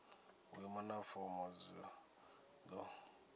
vhuimo na fomo zwi do